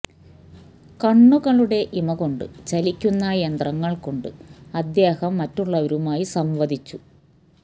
കണ്ണുകളുടെ ഇമ കൊണ്ട് ചലിക്കുന്ന യന്ത്രങ്ങൾ കൊണ്ട് അദ്ദേഹം മറ്റുള്ളവരുമായി സംവദിച്ചു